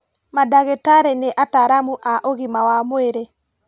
Mandagĩtarĩ nĩ ataaramu a ũgima wa mwĩrĩ